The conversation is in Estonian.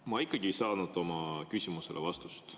Ma ikkagi ei saanud oma küsimusele vastust.